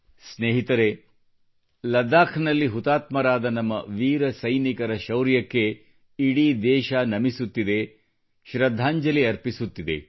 ಸ್ನೇಹಿತರೇ ಲಡಾಖ್ನಲ್ಲಿ ಹುತಾತ್ಮರಾದ ನಮ್ಮ ವೀರ ಸೈನಿಕರ ಶೌರ್ಯಕ್ಕೆ ಇಡೀ ದೇಶವು ನಮಿಸುತ್ತಿದೆ ಶ್ರದ್ಧಾಂಜಲಿ ಅರ್ಪಿಸುತ್ತಿದೆ